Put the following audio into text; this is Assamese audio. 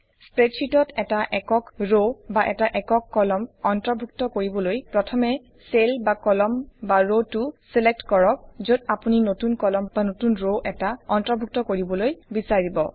স্প্ৰেডশ্বিটত এটা একক ৰ বা এটা একক কলম অন্তৰ্ভুক্ত কৰিবলৈ প্ৰথমে চেল বা কলম বা ৰটোক ছিলেক্ট কৰক যত আপুনি নতুন কলম বা নতুন ৰটো অন্তৰ্ভুক্ত কৰিবলৈ বিছাৰিব